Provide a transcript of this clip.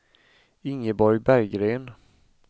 Ingeborg Berggren